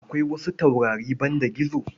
Akwai wasu taurari banda gizo.